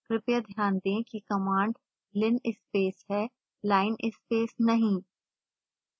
कृपया ध्यान दें कि कमांड linspace है linespace नहीं